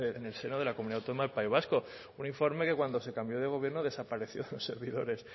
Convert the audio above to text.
en el seno de la comunidad autónoma del país vasco un informe que cuando se cambión de gobierno desapareció en los servidores